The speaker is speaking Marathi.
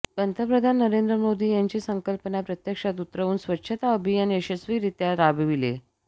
पंतप्रधान नरेंद्र मोदी यांची संकल्पना प्रत्यक्षात उतरवून स्वच्छता अभियान यशस्वी रित्या राबविले